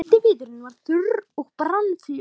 Eldiviðurinn var þurr og brann fljótt.